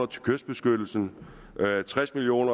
til kystbeskyttelse tres million